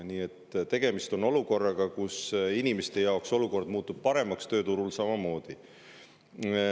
Nii et inimeste jaoks muutub olukord paremaks, tööturul samamoodi.